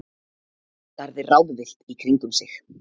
Starði ráðvillt í kringum sig.